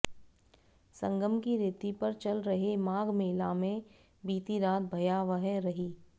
संगम की रेती पर चल रहे माघमेला में बीती रात भयावह रही